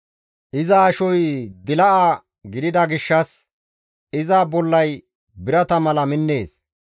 Iza ashoy dila7a gidida gishshas iza bollay birata mala minnees.